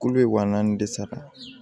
Kulu bɛ wa naani de sara